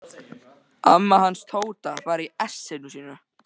Amma hans Tóta var í essinu sínu.